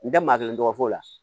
N tɛ maa kelen tɔgɔ f'o la